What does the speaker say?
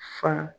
Fa